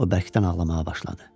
O bərkdən ağlamağa başladı.